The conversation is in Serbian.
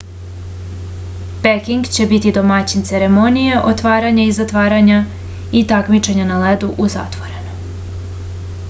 peking će biti domaćin ceremonije otvaranja i zatvaranja i takmičenja na ledu u zatvorenom